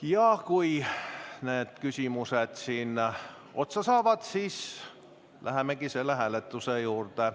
Ja kui küsimused otsa saavad, siis lähemegi hääletuse juurde.